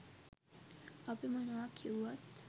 අපි මොනවා කිව්වත්